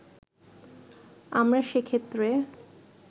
আমরা সেক্ষেত্রে